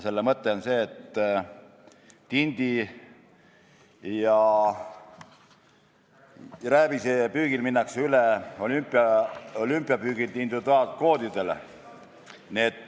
Selle mõte on see, et tindi ja rääbise püügil minnakse üle olümpiapüügilt individuaalkvootidele.